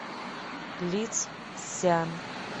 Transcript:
лицзян